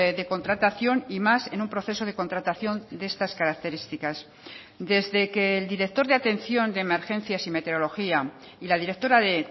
de contratación y más en un proceso de contratación de estas características desde que el director de atención de emergencias y meteorología y la directora de